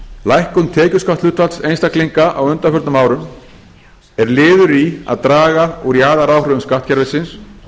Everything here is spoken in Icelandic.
lækkun tekjuskattshlutfalls einstaklinga á undanförnum árum er liður í að draga úr jaðaráhrifum skattkerfisins